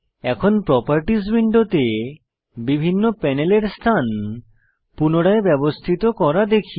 এখন প্রোপারটিস উইন্ডোতে বিভিন্ন প্যানেলের স্থান পুনরায় ব্যবস্থিত করা দেখি